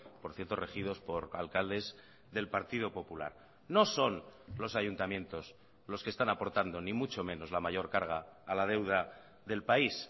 por cierto regidos por alcaldes del partido popular no son los ayuntamientos los que están aportando ni mucho menos la mayor carga a la deuda del país